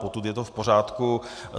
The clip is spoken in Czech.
Potud je to v pořádku.